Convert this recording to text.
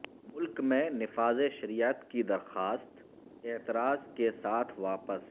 ملک میں نفاذ شریعت کی درخواست اعتراض کے ساتھ واپس